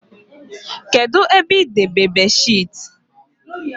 Kedụ ebe idebe beedịsheetị?